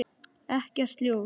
Ekkert ljós.